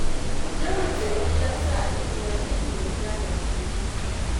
Yawan zargi ya sa Aliyu ya daina yarda da abokinsa.